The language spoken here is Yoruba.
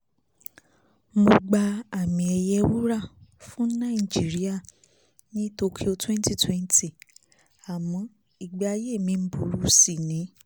mo gba àmi ẹ̀yẹ wúrà fún nàìjíríà ní tokyo twwwnty twenty àmọ́ ìgbé ayé mi ń burú sí ni